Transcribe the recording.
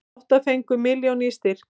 Átta fengu milljón í styrk